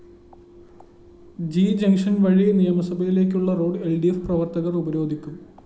G junction‍ വഴി നിയമസഭയിലേക്കുള്ള road ൽ ഡി ഫ്‌ പ്രവര്‍ത്തകര്‍ ഉപരോധിക്കും